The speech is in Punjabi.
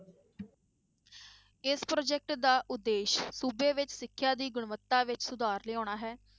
ਇਸ project ਦਾ ਉਦੇਸ਼ ਸੂਬੇ ਵਿੱਚ ਸਿਖਿਆ ਦੀ ਗੁਣਵਤਾ ਵਿੱਚ ਸੁਧਾਰ ਲਿਆਉਣਾ ਹੈ।